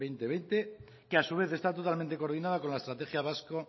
dos mil veinte que a su vez está totalmente coordinada con la estrategia vasca